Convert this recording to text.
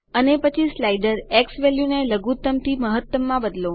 અને પછી સ્લાઇડર ઝવેલ્યુ ને લઘુત્તમ થી મહત્તમમાં બદલો